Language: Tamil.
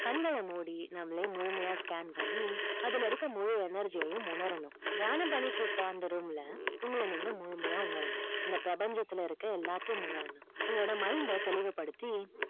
கண்கல மூடி நம்மள முழுமையா scan பண்ணி அதுல இருக்குற முழு energy உம் உணரனும் தியானம் பண்ணிக்கிட்டு இருக்குற room ல நீங்க முழுமையா உணரனும் இந்த பிரபஞ்சத்துல இருக்குற எல்லாத்தையும் உணரனும் உங்களோட mind அ தெளிவு படுத்தி